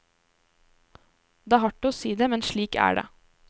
Det er hardt å si det, men slik er det.